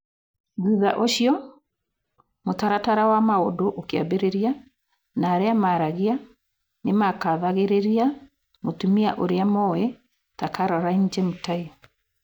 Thutha ũcio, mũtaratara wa maũndu ũkĩambĩrĩria, na arĩa maaragia nĩ makathagĩrĩria mũtumia ũrĩa moĩ ta Caroline Jemutai.